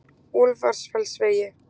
Úlfarfellsvegi